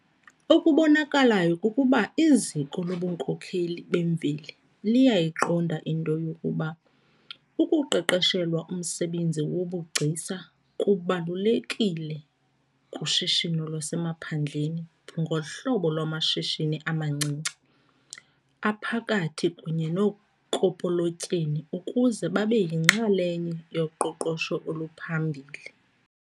Okubonakalayo kukuba iziko lobunkokheli bemveli liyayiqonda into yokuba ukuqeqeshelwa umsebenzi wobugcisa kubalulekile kushishino lwasemaphandleni ngohlobo lwamashishini amancinci, aphakathi kunye nookopolotyeni ukuze babe yinxalenye yoqoqosho oluphambili.